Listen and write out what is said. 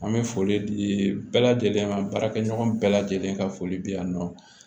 An bɛ foli di bɛɛ lajɛlen ma baarakɛ ɲɔgɔn bɛɛ lajɛlen ka foli bɛ yan nɔ